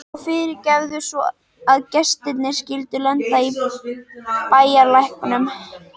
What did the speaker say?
Og fyrirgefðu svo að gestirnir skyldu lenda í bæjarlæknum.